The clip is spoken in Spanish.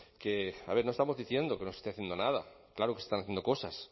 que no estamos diciendo que no se esté haciendo nada claro que están haciendo cosas